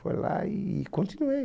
Fui lá e continuei.